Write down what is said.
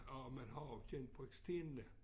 Og man har også genbrugt stenene